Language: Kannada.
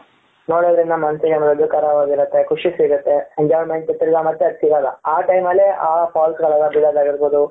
ನೋಡುದ್ರೆ ಇನ್ನ ಮನಸಿಗೆ ಮುದುಗರವಾಗಿರುತ್ತೆ ಖುಷಿ ಸಿಗುತ್ತೆ enjoyment ತಿರುಗಾ ಮತ್ತೆ ಅದು ಸಿಗಲ್ಲ ಆ time ಅಲ್ಲಿ ಅ falls ಗಳ ಎಲ್ಲ ಬೀಳದಾಗಿರ್ಬಹುದು